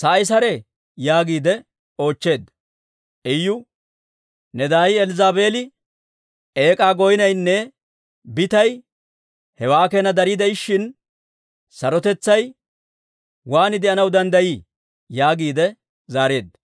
sa'i saree?» yaagiide oochcheedda. Iyu, «Ne daay Elzzaabeeli eek'aa goynnaynne bitaynne hewaa keena dari de'ishshin, sarotetsay waan de'anaw danddayii?» yaagiide zaareedda.